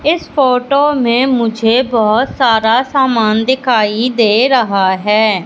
इस फोटो में मुझे बहोत सारा सामान दिखाई दे रहा है।